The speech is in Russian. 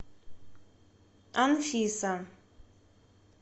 анфиса